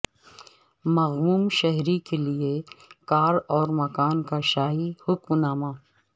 مغموم شہری کیلئے کار اور مکان کا شاہی حکمنامہ